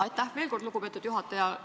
Aitäh veel kord, lugupeetud juhataja!